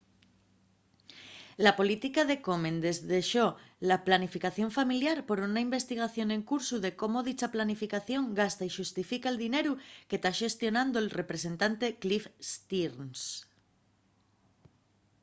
la política de komen desdexó la planificación familiar por una investigación en cursu de cómo dicha planificación gasta y xustifica'l dineru que ta xestionando'l representante cliff stearns